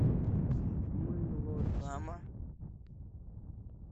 мылодрама